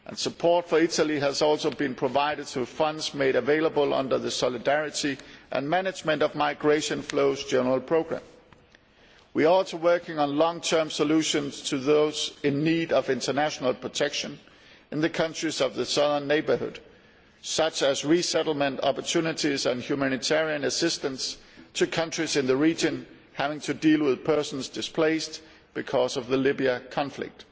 Support for Italy has also been provided through funds made available under the Solidarity and management of migration flows' general programme. We are also working on long term solutions for those in need of international protection in the countries of the Southern Neighbourhood, such as resettlement opportunities and humanitarian assistance to countries in the region having to deal with people displaced because of the Libyan conflict.